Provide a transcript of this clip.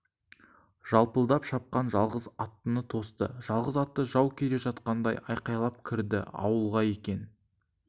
жалпылдап шапқан жалғыз аттыны тосты жалғыз атты жау келе жатқандай айқайлай кірді ауылға екен